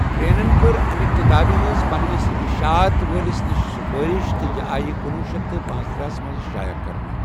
گرینن کٕر امہِ کِتاب ہٕنز پننِس اِشعات وٲلِس نِش سُفٲرِش، تہٕ یہِ آیہ کُنۄہ شیتھ تہٕ پنٔژتٕرہ منز شائع کرنہٕ۔